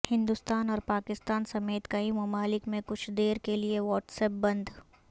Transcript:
ہندوستان اور پاکستان سمیت کئی ممالک میں کچھ دیر کیلئے واٹس ایپ بند